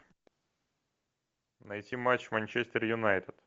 найти матч манчестер юнайтед